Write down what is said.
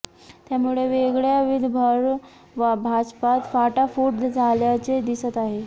त्यामुळे वेगळ्या विदर्भावर भाजपात फाटाफूट झाल्याचे दिसत आहे